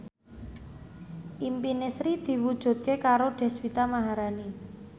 impine Sri diwujudke karo Deswita Maharani